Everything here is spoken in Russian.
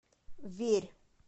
верь